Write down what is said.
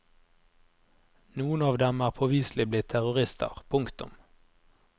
Noen av dem er påviselig blitt terrorister. punktum